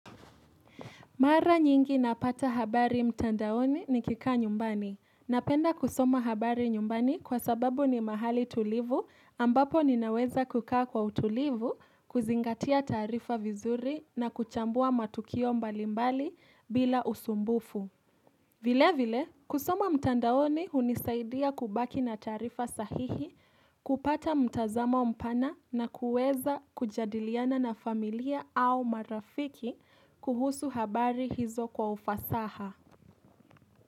Mara nyingi napata habari mtandaoni nikikaa nyumbani. Napenda kusoma habari nyumbani kwa sababu ni mahali tulivu ambapo ninaweza kukaa kwa utulivu, kuzingatia taarifa vizuri na kuchambua matukio mbalimbali bila usumbufu. Vile vile, kusoma mtandaoni hunisaidia kubaki na taarifa sahihi, kupata mtazamo mpana na kuweza kujadiliana na familia au marafiki kuhusu habari hizo kwa ufasaha.